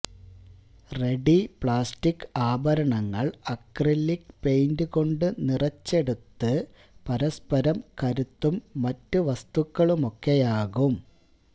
ready plastic ആഭരണങ്ങൾ acrylic paint കൊണ്ട് നിറച്ചെടുത്ത് പരസ്പരം കരുത്തും മറ്റ് വസ്തുക്കളുമൊക്കെയാകും